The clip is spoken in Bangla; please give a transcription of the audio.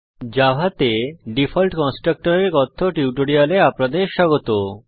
জাভাতে ডিফল্ট কনস্ট্রাক্টর এর কথ্য টিউটোরিয়ালে আপনাদের স্বাগত